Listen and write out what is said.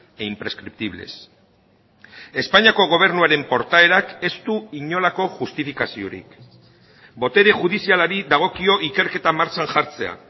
e imprescriptibles espainiako gobernuaren portaerak ez du inolako justifikaziorik botere judizialari dagokio ikerketa martxan jartzea